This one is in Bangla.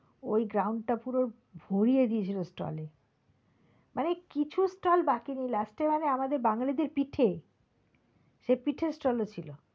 ওই ground টা পুরো ভরিয়ে দিয়েছিলো stall এ মানে কিছু stall বাকি নেই last এ মানে আমাদের বাঙালি দের পিঠে সেই পিঠের stall ও ছিল।